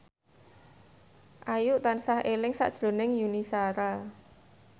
Ayu tansah eling sakjroning Yuni Shara